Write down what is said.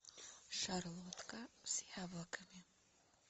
шарлотка с яблоками